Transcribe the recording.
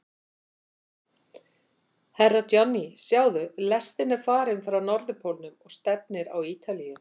Herra Johnny, sjáðu, lestin er farin frá Norðurpólnum og stefnir á Ítalíu.